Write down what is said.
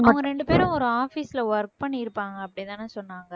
அவங்க ரெண்டு பேரும் ஒரு office ல work பண்ணிருப்பாங்க அப்படி தானே சொன்னாங்க